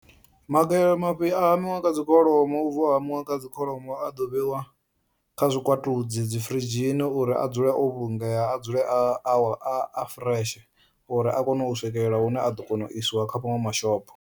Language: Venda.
Mafhi a hamiwa kha dzi kholomo u bva u hamiwa kha dzi kholomo a ḓo vheiwa kha zwikwatudzi dzi firidzhini uri a dzule o vhulungea a dzule a wa a a fureshe uri a kone swikela hune a ḓo isiwa kha maṅwe mashango.